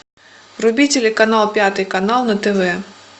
вруби телеканал пятый канал на тв